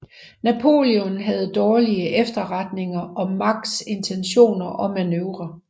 Napoleon havde dårlige efterretninger om Macks intentioner og manøvrer